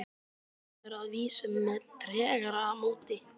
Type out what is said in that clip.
Samræður að vísu með tregara móti.